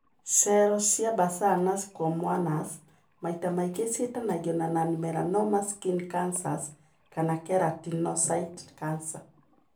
Cero cia Basal na Squamous maita maingi niciitanagio na non melanoma skin cancers kana keratinocyte cancers.